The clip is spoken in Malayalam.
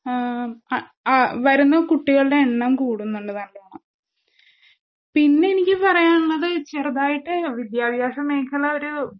ആം അഹ്അ വരുന്നകുട്ടികളുടെ എണ്ണംകൂടുന്നുണ്ട് നല്ലോണം. പിന്നെനിക്ക് പറയാനുള്ളത് ചെറുതായിട്ട് വിദ്യാഭാസമേഖല ഒരൂ